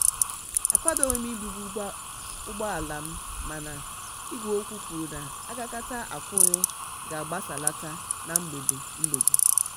akwadobugim ibu ùgbòalam mana igwe okwu kwuru na agakata akwúrú ka agbasalata na mgbede. mgbede.